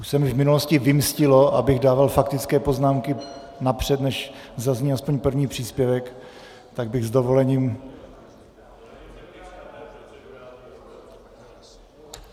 Už se mi v minulosti vymstilo, abych dával faktické poznámky napřed, než zazní aspoň první příspěvek, tak bych s dovolením...